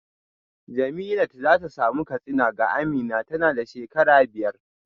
Jemilat za ta samu katsina ga Amina tana da shekara biyar